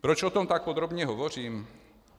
Proč o tom tak podrobně hovořím?